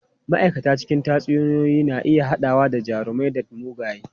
Ma'aikata cikin tatsuniyoyi na iya haɗawa da jarumai da mugaye.